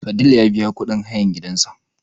Fadil ya biya kuɗin hayan gidan sa